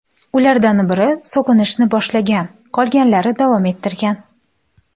Ulardan biri so‘kinishni boshlagan, qolganlari davom ettirgan.